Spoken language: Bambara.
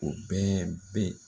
O bɛɛ be